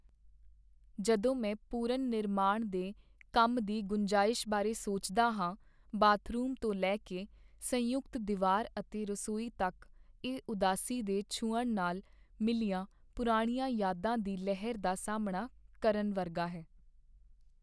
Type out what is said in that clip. ਜਦੋਂ ਮੈਂ ਪੁਨਰ ਨਿਰਮਾਣ ਦੇ ਕੰਮ ਦੀ ਗੁੰਜਾਇਸ਼ ਬਾਰੇ ਸੋਚਦਾ ਹਾਂ ਬਾਥਰੂਮ ਤੋਂ ਲੈ ਕੇ ਸੰਯੁਕਤ ਦੀਵਾਰ ਅਤੇ ਰਸੋਈ ਤੱਕ ਇਹ ਉਦਾਸੀ ਦੇ ਛੂਹਣ ਨਾਲ ਮਿਲੀਆਂ ਪੁਰਾਣੀਆਂ ਯਾਦਾਂ ਦੀ ਲਹਿਰ ਦਾ ਸਾਹਮਣਾ ਕਰਨ ਵਰਗਾ ਹੈ